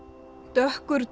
dökkur